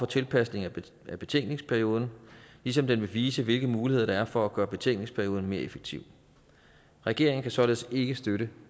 tilpasning af betænkningsperioden ligesom den vil vise hvilke muligheder der er for at gøre betænkningsperioden mere effektiv regeringen kan således ikke støtte